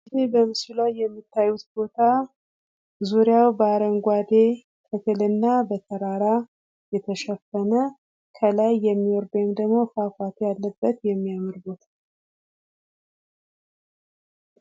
ይህ በምስሉ ላይ የምታዩት ቦታ ዙሪያውን በአረንጓዴ ተክል እና በተራራ የተሸፈነ ከላይ በሚወርድ ወይም ፏፏቴ ያለበት የሚያምር ቦታ ነው።